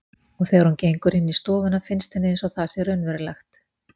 Og þegar hún gengur inn í stofuna finnst henni einsog það sé raunverulegt.